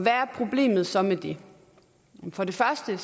er problemet så med det for det første er